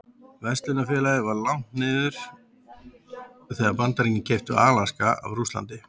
Verslunarfélagið var lagt niður þegar Bandaríkin keyptu Alaska af Rússlandi.